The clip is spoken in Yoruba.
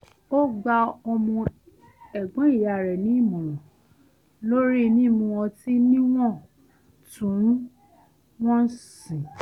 ó gba ọmọ ẹ̀gbọ́n ìyá rẹ̀ nì ìmọ̀ràn lórí mímu ọtí níwò̩n-tún-wò̩n sì